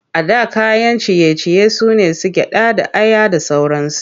A da kayan ciye-ciye su ne su gyaɗa da aya da sauransu.